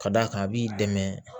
Ka d'a kan a b'i dɛmɛ